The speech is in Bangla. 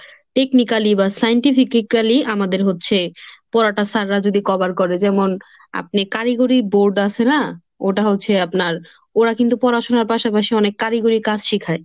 technically বা scientifically আমাদের হচ্ছে পড়াটা sir রা যদি cover করে। যেমন আপনি কারিগরি board আসে না, ওটা হচ্ছে আপনার ওরা কিন্তু পড়াশোনার পাশাপাশি অনেক কারিগরি কাজ শিখায়।